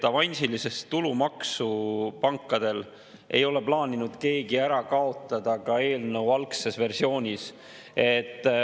Avansilist tulumaksu pankadele ei ole plaaninud keegi ära kaotada ka eelnõu algses versioonis.